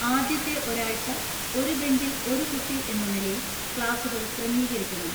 ആദ്യത്തെ ഒരാഴ്ച ഒരു ബെഞ്ചിൽ ഒരു കുട്ടി എന്ന നിലയിൽ ക്ലാസുകൾ ക്രമീകരിക്കണം.